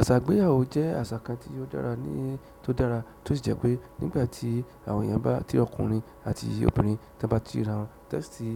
Àṣà ìgbéyàwó jẹ́ àṣà kan tí ó dára ní tó dára, tó sì jẹ́ pé nígbà tí àwọn èèyàn bá ti ọkùnrin àti obìnrin ti won ba ti ri ra wọn, ti won si